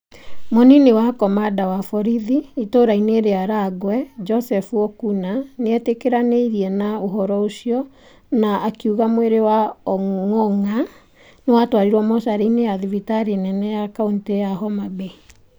Mũnini wa komanda wa borithi ĩtũũra-inĩ rĩa Rang'we Joseph Okuna nĩ etĩkĩranirie na ũhoro ũcio na akiuga mwĩrĩ wa Ong’ong’a nĩ watwarirwo mocarĩ - inĩ ya thibitarĩ nene ya kaũntĩ ya Homa Bay.